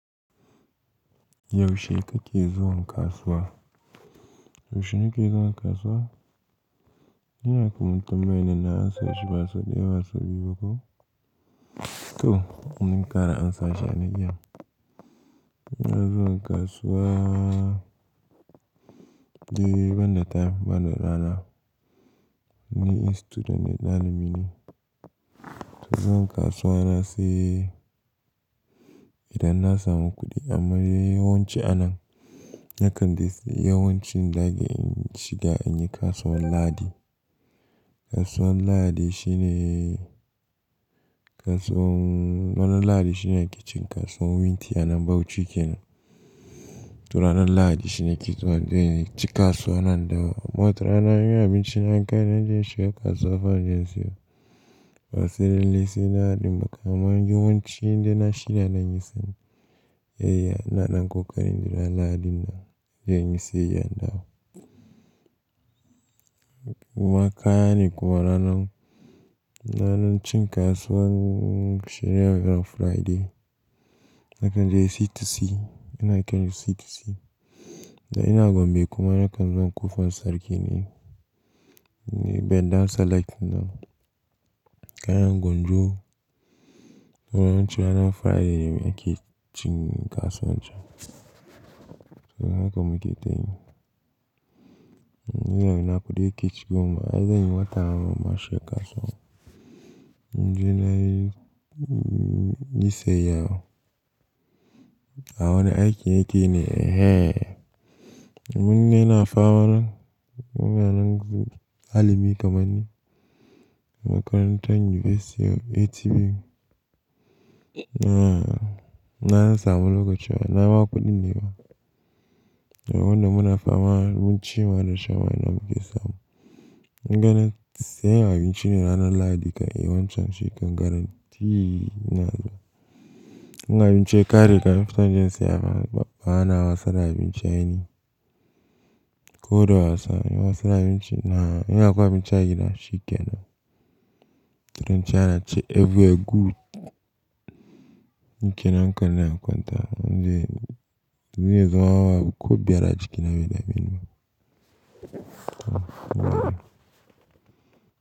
Yaushe kake zuwa kasuwa? Yaushe nake zuwa kasuwa? Ina kuma tambayi na na ansa shi ba so ɗaya, ba sau biyu ko to kuma bari na ƙara ansa shi ya na iyan. Ina zuwa kasuwa dede ban da time, ban da rana. Ni student ne, dalibi ne. Zuwa kasuwa na sai idan na samu kuɗi amma yawanci a nan, yakan dai sai yawancin dage in shiga in yi kasuwar Ladi. Kasuwar Lahadi shine kasuwan-- ranar Lahadi shine ke cikin kasuwan wunti a nan Bauchi kenan. To ranar Ladi shine nake in ci kasuwa na in dawo. Amma watarana in abinci na ya kari, na je in shiga kasuwa fa inje in siyi. Wasu da illisi da hadin baƙa amma yawanci inda na shirya na yi sani. Eya, ina ɗan ƙoƙarin in jira Lahadi na da inje inyi sayayya n dawo. Maka ne kuma ranan, ranan cin kasuwan shine ranar Friday. Na kan je C2C, ina kai na C2C. Da ina gombe kuma na kan zo ƙofan sarki ne, ne bendar select na. Kayan gwanjo, yawanci ranar Friday ne muke cin kasuwan can. So hakan mu ke ta yi. Ina kuɗi ke cikin kuma ai zanyi wata mashi kasuwa. Dan na yi sai iya. Awa na aiki yake ne, eh eh. Mun ne na fama nan, muna nan ɗa kamanni. Makarantar University of ATB. Na ina na samu lokaci wa, ina ma kuɗin ne na. Wanda muna fama mun ci ma da shawarma muke samu. Gani sai abinci ne ranan Ladi ka yi yawanci shekar garanti na zama. In ga abinci ya ƙare ka, mun fita don jinsiya ba, ba ana wasa da abinci a ni. Ko da wasa, yi wasa da abinci na, in yaƙwa abinci a gida shikenan. Turanci ana ce "Everything good." Nike nan kan na, kwanta. Zan je yanzu wa ko biyar a jiki na bai dameni bh.